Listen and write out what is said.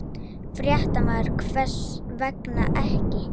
Fréttamaður: Hvers vegna ekki?